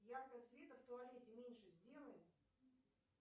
яркость света в туалете меньше сделай